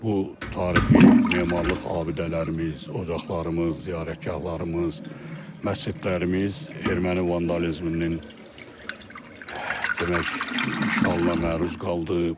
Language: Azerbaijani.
bu tarixi memarlıq abidələrimiz, ocaqlarımız, ziyarətgahlarımız, məscidlərimiz erməni vandalizminin demək, işğalına məruz qaldı.